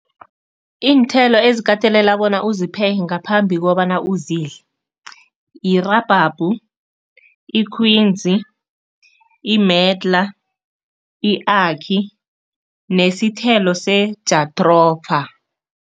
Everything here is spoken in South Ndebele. Iinthelo ezikatelela bona uzipheke ngaphambi kobana uzidle, yirabhabhu, ikhwinzi, i-medlar, i-akhi nesithelo se-jathropha.